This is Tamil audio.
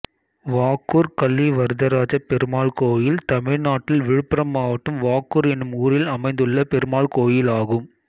வாக்கூர் கலிவரதராஜப்பெருமாள் கோயில் தமிழ்நாட்டில் விழுப்புரம் மாவட்டம் வாக்கூர் என்னும் ஊரில் அமைந்துள்ள பெருமாள் கோயிலாகும்